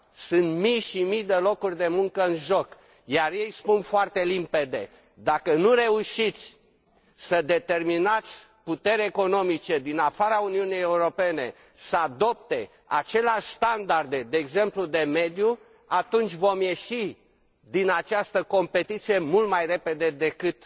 Sunt mii și mii de locuri de muncă în joc, iar ei spun foarte limpede dacă nu reușiți să determinați puteri economice din afara Uniunii Europene să adopte aceleași standarde, de exemplu, de mediu, atunci vom ieși din această competiție mult mai repede decât